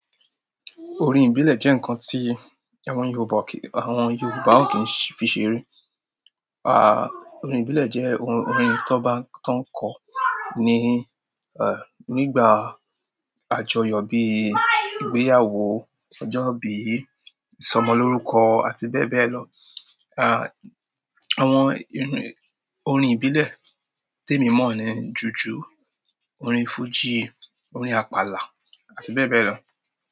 Orin ìbílẹ̀ jẹ́ ǹkan tí àwọn Yorùbá kì í, àwọn Yorùbá ò kí ń fi ṣeré. À, orin ìbílẹ̀ jẹ́ orin tán bá ń, tán ń kọ ní, ẹ̀, nígbà àjọyọ̀ bíi ìgbéyàwó, ọjọ́ bí ìsọmọlórúkọ àti bẹ́ẹ̀ bẹ́ẹ̀ lọ. À, àwọn orin, orin ìbílẹ̀ témì í mọ̀ ni jùjú orin fújì, orin àpàlà àti bẹ́ẹ̀ bẹ́ẹ̀ lọ.